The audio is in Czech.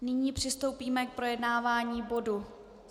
Nyní přistoupíme k projednávání bodu